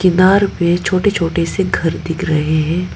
किनार पे छोटे छोटे से घर दिख रहे हैं।